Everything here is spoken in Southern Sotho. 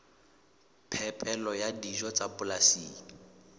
phepelo ya dijo tsa polasing